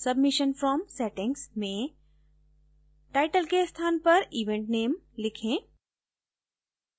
submission form settings में title के स्थान पर event name लिखें